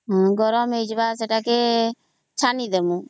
ହଁ ଗରମ ହେଇଯିବ ସେଟାକେ ଛାଣି ଦମୁ